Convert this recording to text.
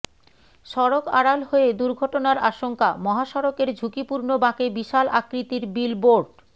সড়ক আড়াল হয়ে দুর্ঘটনার আশঙ্কা মহাসড়কের ঝুঁকিপূর্ণ বাঁকে বিশাল আকৃতির বিলবোর্ড